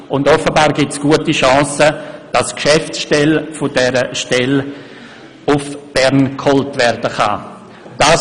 Und offenbar bestehen gute Chancen, dass die Geschäftsstelle dieser zentralen Stelle nach Bern geholt werden kann.